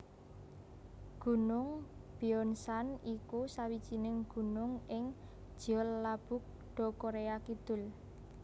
Gunung Byeonsan iku sawijining gunung ing Jeollabuk do Koréa Kidul